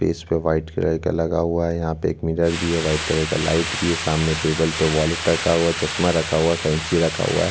इसपे white colour का लगा हुआ है यहाँ पर मिरर भी है व्हाइट कलर ला लाइट भी सामने टेबल पे वॉलेट रखा हुआ है चश्मा रखा हुआ है कैंची रखा हुआ हैं।